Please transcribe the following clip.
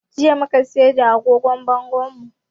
Jiya mu ka sayar da agogon bangonmu